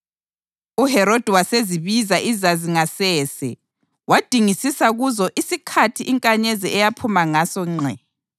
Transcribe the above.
UHerodi wasezibiza iZazi ngasese wadingisisa kuzo isikhathi inkanyezi eyaphuma ngaso ngqe.